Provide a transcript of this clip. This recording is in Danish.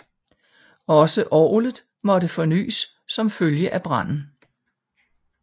Også orgelet måtte fornyes som følge af branden